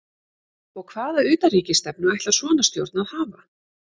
Og hvaða utanríkisstefnu ætlar svona stjórn að hafa?